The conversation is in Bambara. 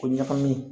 O ɲagamini